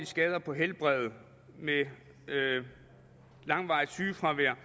skader på helbredet med langvarigt sygefravær